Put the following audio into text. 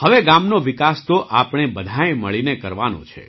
હવે ગામનો વિકાસ તો આપણે બધાંએ મળીને કરવાનો છે